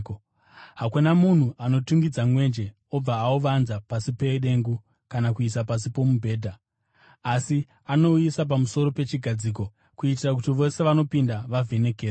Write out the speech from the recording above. “Hakuna munhu anotungidza mwenje obva auvanza pasi pedengu kana kuuisa pasi pomubhedha. Asi, anouisa pamusoro pechigadziko, kuitira kuti vose vanopinda vavhenekerwe.